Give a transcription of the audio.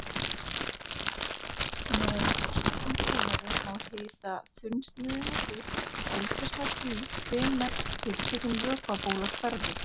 Með sérstökum búnaði má hita þunnsneiðina upp og fylgjast með því hvenær tiltekin vökvabóla hverfur.